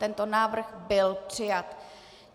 Tento návrh byl přijat.